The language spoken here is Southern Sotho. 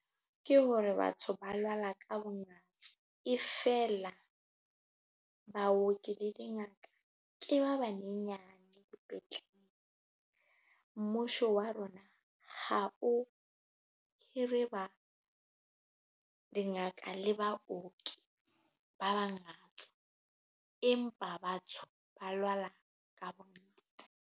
Ke hore batho ba lwala ka bongata e feela baoki le dingaka ke ba banyenyane dipetlele. Mmusho wa rona ha o hire dingaka le baoki ba bangata, empa batho ba lwala ka bongata.